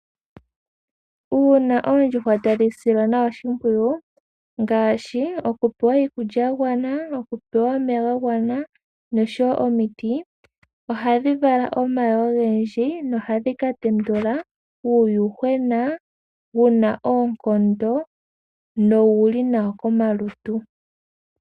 Uuna oondjuhwa tadhi silwa nawa oshimpwiyu ngaashi, okupewa iikulya yagwana, okupewa omeya ga gwana, noshowo omiti, ohadhi vala omayi ogendji, nohadhi katendula uuyuhwena wuna oonkondo, nowuli nawa komalutu.